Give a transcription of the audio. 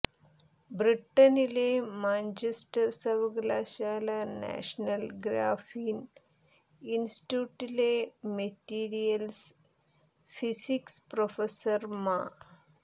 ബ്രിട്ടനിലെ മാഞ്ചസ്റ്റർ സർവകലാശാലാ national graphene ഇൻസ്റ്റിറ്റ്യൂട്ടിലെ മെറ്റീരിയൽസ് ഫിസിക്സ് പ്രൊഫസർ മാ